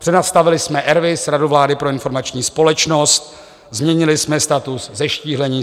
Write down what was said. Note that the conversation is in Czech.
Přenastavili jsme RVIS - Radu vlády pro informační společnost, změnili jsme status, zeštíhlení.